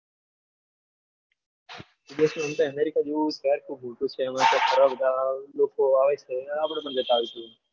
વિદેશમાં આમ તો america જેવું શહેર ઘણા બધા લોકો ફરવા આવે છ એટલે આપણે પણ જતા આવીશું.